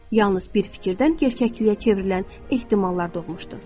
Yalnız bir fikirdən gerçəkliyə çevrilən ehtimallar doğmuşdur.